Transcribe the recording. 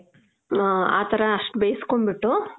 ಮ್ಮ್, ಹ ಥರ ಅಷ್ಟ್ ಬೇಸ್ಕೊಂಡ್ ಬಿಟ್ಟು,